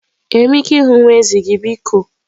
Enwere m ike ịhụ nwa ezi gị biko?